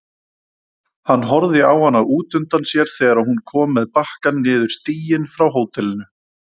Hann horfði á hana útundan sér þegar hún kom með bakkann niður stíginn frá hótelinu.